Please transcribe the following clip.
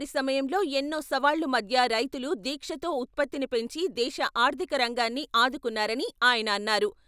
సమయంలో ఎన్నో సవాళ్ల మధ్య రైతులు దీక్షతో ఉత్పత్తిని పెంచి దేశ ఆర్ధిక రంగాన్ని ఆదుకున్నారని ఆయన అన్నారు.